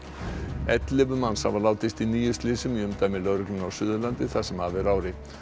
ellefu manns hafa látist í níu slysum í umdæmi lögreglunnar á Suðurlandi það sem af er ári